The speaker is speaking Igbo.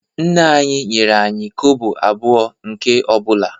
Nna anyị nyere anyị kobo abụọ nke ọ bụla